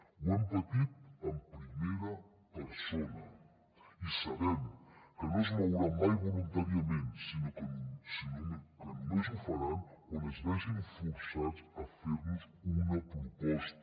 ho hem patit en primera persona i sabem que no es mouran mai voluntàriament sinó que sinó que només ho faran quan es vegin forçats a fer nos una proposta